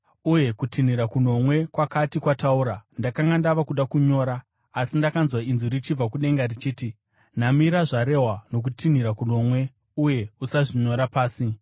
Uye kutinhira kunomwe kwakati kwataura, ndakanga ndava kuda kunyora; asi ndakanzwa inzwi richibva kudenga richiti, “Namira zvarehwa nokutinhira kunomwe uye usazvinyora pasi.”